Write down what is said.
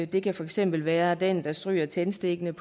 det kan for eksempel være den der stryger tændstikken